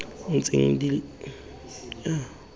ntseng di le gona di